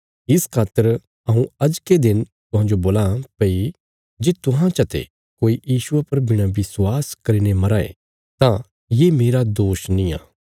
इस खातर हऊँ अजके दिन तुहांजो बोलां भई जे तुहां चते कोई यीशुये पर बिणा विश्वास करीने मराँ ये तां ये मेरा दोष नींआ